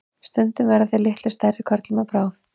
stundum verða þeir litlu stærri körlum að bráð